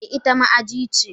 Eh ita ma aji ce.